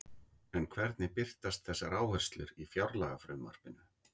En hvernig birtast þessar áherslur í fjárlagafrumvarpinu?